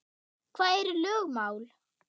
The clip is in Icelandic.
Hvað eru lögmál?